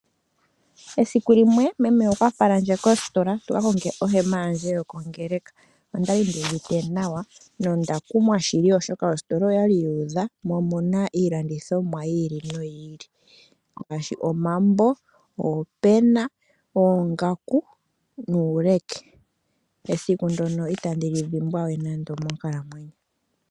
Esiku limwe meme okwa falandje koositola tuka konge ohema yandje yokuya kongeleka, ondali nduuvite nawa no ndakumwa shili oshoka ositola okwali yuudha, mo omuna iilandithomwa yili no yili ngashi omambo, oopena, oongaku nuuleke. Esiku dyoka itandi li dhimbwa we nando monkalamwenyo yandje.